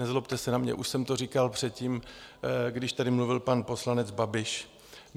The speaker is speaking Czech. Nezlobte se na mě, už jsem to říkal předtím, když tady mluvil pan poslanec Babiš.